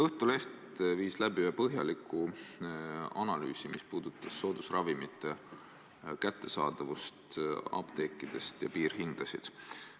Õhtuleht viis läbi ühe põhjaliku analüüsi, mis puudutas soodusravimite kättesaadavust apteekides ja piirhindasid.